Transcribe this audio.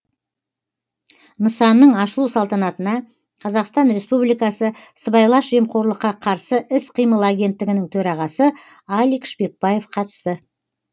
нысанның ашылу салтанатына қазақстан республикасы сыбайлас жемқорлыққа қарсы іс қимыл агенттігінің төрағасы алик шпекбаев қатысты